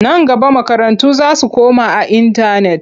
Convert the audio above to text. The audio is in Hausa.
Nan gaba makarantu za su koma a intanet.